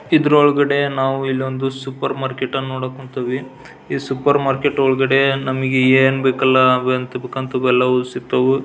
ಇದ್ರೊಳಗಡೆ ನಾವು ಇಲ್ಲೊಂದು ಸೂಪರ್ ಮಾರ್ಕೆಟ್ ನೋಡಕ್ ಹೊಂತಿವಿ ಸೂಪರ್ ಮಾರ್ಕೆಟ್ ನಮಗೆ ಏನ್ ಬೇಕಲ್ಲ ಅಂತಾವೆಲ್ಲವು ಸಿಗ್ತವು.